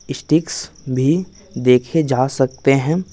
Sticks भी देखे जा सकते हैं।